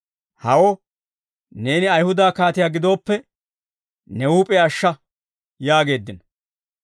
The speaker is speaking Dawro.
«Hawo, neeni Ayihuda kaatiyaa gidooppe, ne huup'iyaa ashsha!» yaageeddino.